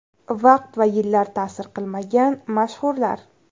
Vaqt va yillar ta’sir qilmagan mashhurlar .